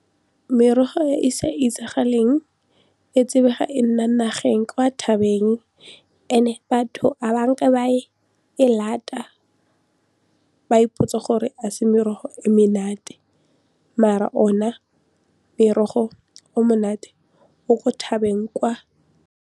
Merogo e e sa itsagaleng e tsebega e nna nageng kwa thabeng and-e batho ga e lata ba ipotsa gore ga se merogo e menate mare ona morogo o monate o ko thabeng kwa.